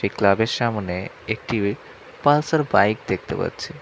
Club -এর সামোনে একটি পালসার বাইক দেখতে পাচ্ছি।